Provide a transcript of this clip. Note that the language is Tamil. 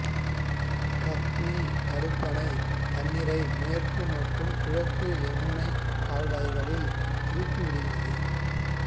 கத்னி தடுப்பணை தண்ணீரை மேற்கு மற்றும் கிழக்கு யமுனா கால்வாய்களில் திருப்பிவிடுகிறது